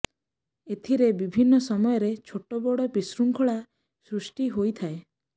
ଏଥିରେ ବିଭିନ୍ନ ସମୟରେ ଛୋଟ ବଡ଼ ବିଶୃଙ୍ଖଳା ସୃଷ୍ଟି ହୋଇଥାଏ